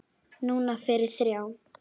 Núna fyrir þrjá.